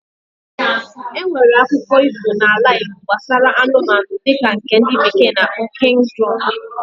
Enwere akụko iho na ala igbo nbasara anụmanụ dika nke ndi bekee na akpo King's Drum